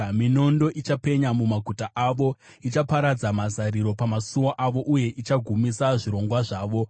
Minondo ichapenya mumaguta avo, ichaparadza mazariro pamasuo avo uye ichagumisa zvirongwa zvavo.